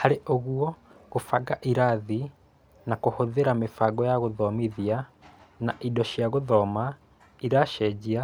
Harĩ ũguo, gũbanga ĩrathĩ na kũhũthĩra mĩbango ya gũthomithia na indo cia gũthoma iracenjĩa